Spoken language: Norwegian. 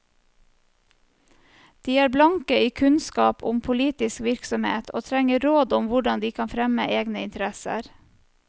De er blanke i kunnskap om politisk virksomhet, og trenger råd om hvordan de kan fremme egne interesser.